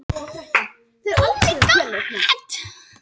Fálkakletti